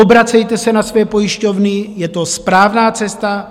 Obracejte se na své pojišťovny, je to správná cesta.